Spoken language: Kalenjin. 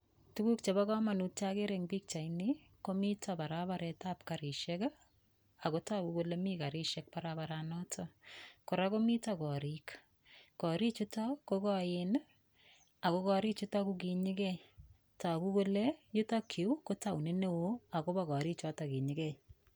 Tukuk chebo komonut chakere eng' pikchaini komito barabaretab karishek akotoku kole mi karishek barabaranoto kora komito korik korichuto ko koen ako korichuto kokinyigei toku kole yutokyu ko taonit ne oo akobo korichuto kinyigei